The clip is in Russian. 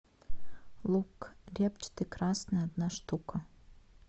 лук репчатый красный одна штука